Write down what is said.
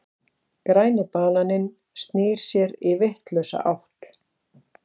Græni bananinn snýr sér í vitlausa átt.